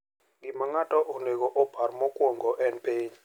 Gima ng’ato onego opar mokuongo en piny;